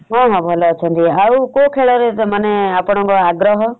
ହଁ ହଁ ଭଲ ଅଛନ୍ତି । ଆଉ କଉ ଖେଳରେ ମାନେ ଆପଣଙ୍କ ଆଗ୍ରହ ?